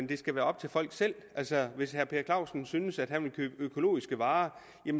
det skal være op til folk selv altså hvis herre per clausen synes at han vil købe økologiske varer